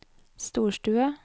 storstue